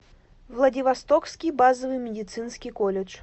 владивостокский базовый медицинский колледж